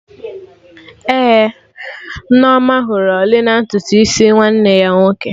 Ee, Nneoma hụrụ ọlị na ntutu isi nwanne ya nwoke